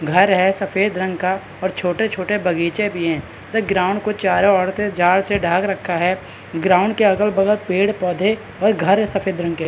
घर है सफ़ेद रंग का और छोटे-छोटे बगीचे भी है। ग्राउंड को चारो ओर से जाल से ढांक रखा है ग्राउंड के अगल-बगल पेड़-पौधे और घर है सफ़ेद रंग के।